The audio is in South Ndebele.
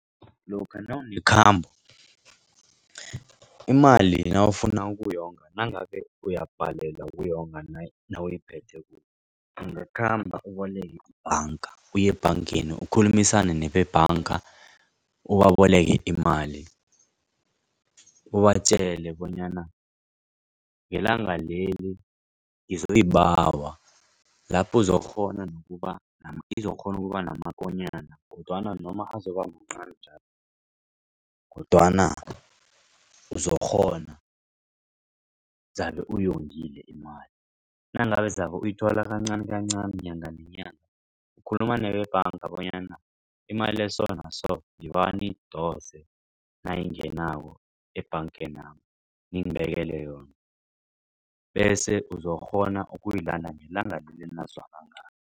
Lokha nawunekhambo imali nawufuna ukuyonga nangabe uyabhalelwa ukuyonga nawuyiphetheko kuwe. Ungakhamba uboleke ibhanga uye ebhangeni ukukhulumisane nebebhanga ubaboleke imali. Ubatjele bonyana ngelanga leli ngizoyibawa lapho uzokukghona kuba namakonyana kodwana noma azoba mncani njalo kodwana uzokukghona uzabe uyongile imali. Nangabe zabe uyithola kancanikancani nyanga nenyanga ukhuluma nebhanga bonyana imali esonaso ngibawa niyidose nayingenako ebhangenami ngibekele yona bese uzokukghona ukuyilanda ngelanga enazwana ngalo.